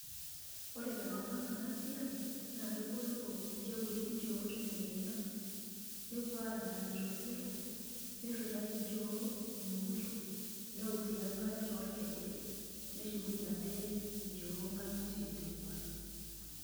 Ore tenkop ang' ena siai naa kebolo ilchekuti nchoo tadekenya nepuo adaari tosero, nirritae nchoo omemuto, neok sii enkare toorkejek, neshukunyie ade nchoo nkang'itie teipa.